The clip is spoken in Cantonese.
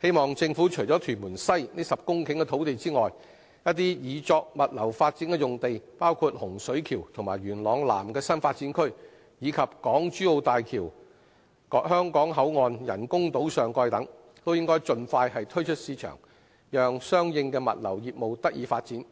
希望政府除預留屯門西這10公頃土地外，一些擬作物流發展的用地，包括洪水橋和元朗南的新發展區，以及港珠澳大橋香港口岸人工島上蓋等，都應盡快推出市場，讓相應的物流業務得以發展，